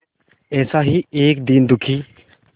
ऐसा ही एक दीन दुखी